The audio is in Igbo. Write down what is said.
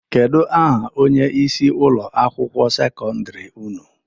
Kedu aha onyeisi ụlọ akwụkwọ sekọndiri ụnụ?